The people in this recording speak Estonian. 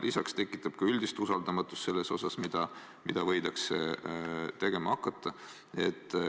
Lisaks tekitab see üldist usaldamatust selles osas, mida võidakse tegema hakata.